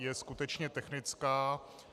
Je skutečně technická.